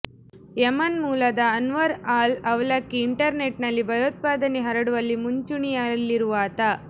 Yemen ಮೂಲದ Anwar al Awlaki internet ನಲ್ಲಿ ಭಯೋತ್ಪಾದನೆ ಹರಡುವಲ್ಲಿ ಮುಂಚೂಣಿಯಲ್ಲಿರುವಾತ